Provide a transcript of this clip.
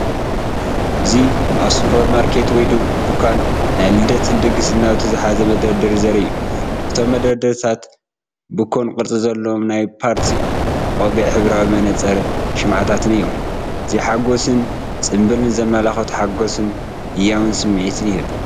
እዚ ኣብ ሱፐርማርኬት ወይ ድኳን ናይ ልደትን ድግስን ናውቲ ዝሓዘ መደርደሪ ዘርኢ እዩ። እቶም መደርደሪታት ብኮን ቅርጺ ዘለዎም ናይ ፓርቲ ቆቢዕ ሕብራዊ መነጽርን፡ ሽምዓታት እዮም። እዚ ሓጐስን ጽምብልን ዘመልክት ሓጐስን ህያውን ስምዒት ይህብ።